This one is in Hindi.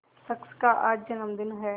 शख्स का आज जन्मदिन है